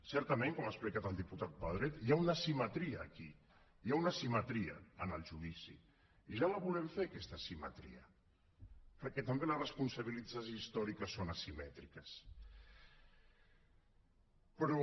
certament com ha explicat el diputat pedret hi ha una asimetria aquí hi ha una asimetria en el judici i ja la volem fer aquesta asimetria perquè també les responsabilitats històriques són asimètriques però